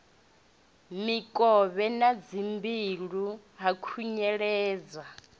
mikovhe na dzimbilo ha khunyeledzwa